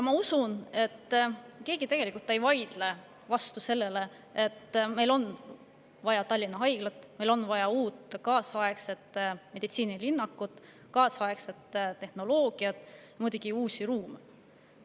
Ma usun, et keegi tegelikult ei vaidle vastu sellele, et meil on vaja Tallinna Haiglat, meil on vaja uut kaasaegset meditsiinilinnakut, kaasaegset tehnoloogiat ja muidugi uusi ruume.